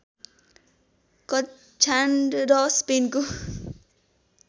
कक्ष्यान्ड र स्पेनको